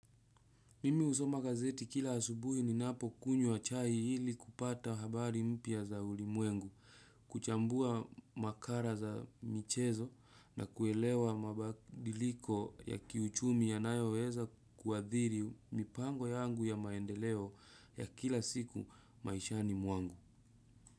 Mimi husoma gazeti kila asubuhi ni napo kunywa chai ili kupata habari mpya za ulimwengu, kuchambua makara za michezo na kuelewa mabadiliko ya kiuchumi ya nayoweza kuadhiri mipango yangu ya maendeleo ya kila siku maishani mwangu.